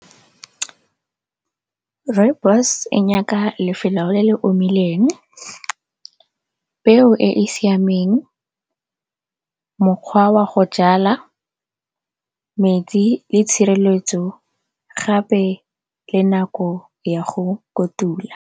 Rooibos e nyaka lefelo le le omileng, peo e e siameng, mokgwa wa go jala, metsi le tshireletso gape le nako ya go kotula.